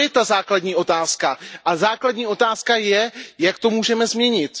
To je ta základní otázka. A základní otázka je Jak to můžeme změnit?